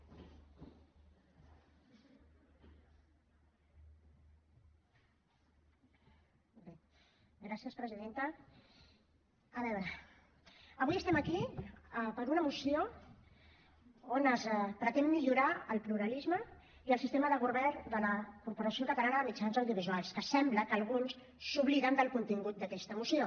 a veure avui estem aquí per una moció on es pretén millorar el pluralisme i el sistema de govern de la corporació catalana de mitjans audiovisuals que sembla que alguns s’obliden del contingut d’aquesta moció